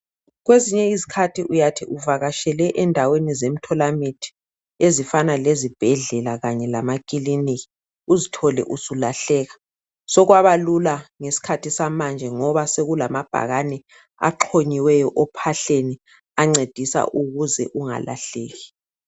Kwezinye izikhathi uyathi uvakatshele endaweni zemtholamithi ezifana lezibhedlela kanye lamakiliniki uzthole usulahleka sokwaba lula ngesikhathi samanje ngoba sekulamabhakani axhonyiweyo ophahleni ancedisa ukuze ungalahleki.